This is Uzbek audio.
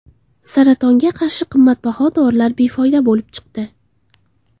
Saratonga qarshi qimmatbaho dorilar befoyda bo‘lib chiqdi.